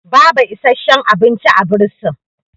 baba isasshen abinci a bursin